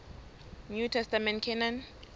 new testament canon